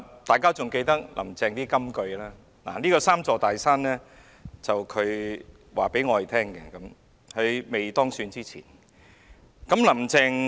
大家仍記得"林鄭"的金句，而這"三座大山"是她在當選前告訴我們的。